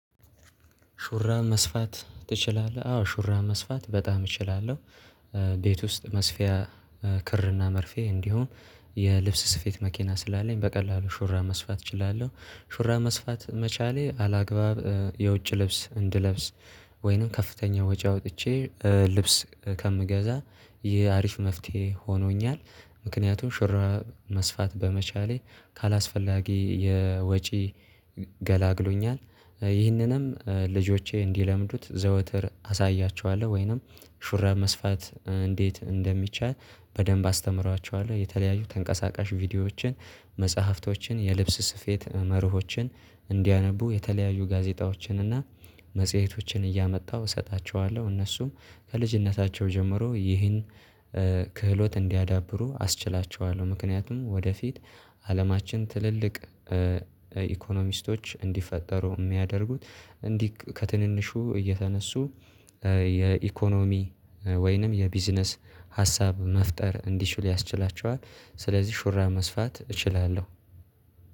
ሹራብ መስፋት ትችላለህ? አዎ ሹራብ መስፋት በጣም እችላለሁ። ቤት ውስጥ መስፊያ ክርና መርፌ እንዲሁም የልብስ ስፌት መኪና ስላለኝ በቀላሉ ሹራብ መስፋት እችላለሁ። ሹራብ መስፋት መቻሌ አላግባብ የውጭ ልብስ እንድለብስ ወይንም ከፍተኛ ወጪ አውጥቼ ልብስ ከምገዛ ይህ አሪፍ መፍትሄ ሆኖኛል። ምክንያቱም ሽራብ መስፋት በመቻሌ ካላስፈላጊ የወጪ ገላግሎኛል። ይህንንም ልጆቼ እንዲለምዱት ዘውትር አሳያቸዋለሁ ወይንም ሹራብ መስፋት እንዴት እንደሚቻል በደንብ አስተምራቸዋለሁ የተለያዩ ተንቀሳቃሽ ቪዲዮዎችን መጽሐፍቶችን የልብስ ስፌት መርሆችን እንዲያነቡ የተለያዩ ጋዜጣዎችን እና መጽሄቶችን እያመጣሁ እሰጣቸዋለሁ እነሱም ከልጅነታቸው ጀምሮ ይህን ክህሎት እንዲያዳብሩ አስችላቸዋለሁ። ምክንያቱም ወደፊት አለማችን ትልልቅ ኢኮኖሚስቶች እንዲፈጠሩ የሚያደርጉት እንዲህ ከትንንሹ እየተነሱ የኢኮኖሚ ወይንም የቢዝነስ ሀሳብ መፍጠር እንዲችል ያስችላቸዋል። ስለዚህ ሹራብ መስፋት እችላለሁ።